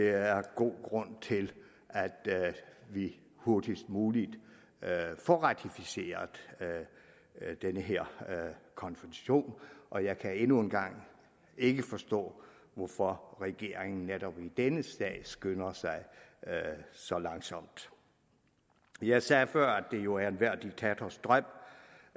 er god grund til at vi hurtigst muligt får ratificeret den her konvention og jeg kan endnu en gang ikke forstå hvorfor regeringen netop i denne sag skynder sig så langsomt jeg sagde før at det jo er enhver diktators drøm